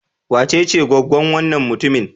Wacece goggon wannan mutumin?